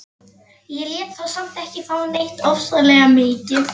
Ég lét þá samt ekki fá neitt ofsalega mikið.